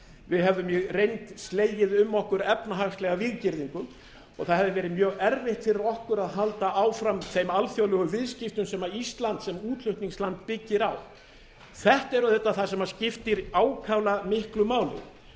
við hefðum í reynd slegið um okkur efnahagslega víggirðingu það hefði verið mjög erfitt fyrir okkur að halda áfram þeim alþjóðlegu viðskiptum sem ísland sem útflutningsland byggir á þetta er auðvitað það sem skiptir ákaflega miklu máli